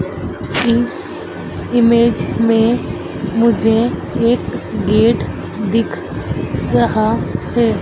इस इमेज में मुझे एक गेट दिख रहा है।